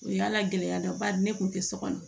O y'a la gɛlɛya ba de ne kun tɛ so kɔnɔ